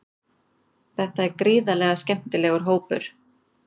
Þetta er gríðarlega skemmtilegur hópur.